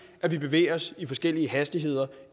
at vi bevæger os i forskellige hastigheder